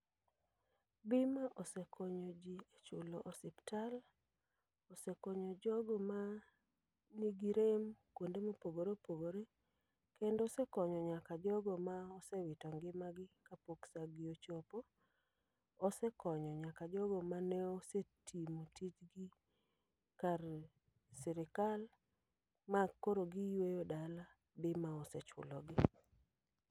Bima osekonyo ji e chulo osiptal, osekonyo jogo ma nigi rem kuonde mopogore opogore. Kendo osekonyo nyaka jogo ma osewito ngima gi kapok sa gi ochopo. Osekonyo nyaka jogo mane osetimo tijgi kar sirikal. Ma koro giyweyo dala, bima osechulogi.